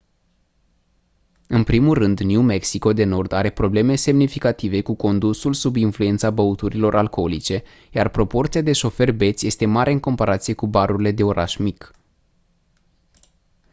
în primul rând new mexico de nord are probleme semnificative cu condusul sub influența băuturilor alcoolice iar proporția de șoferi beți este mare în comparație cu barurile de oraș mic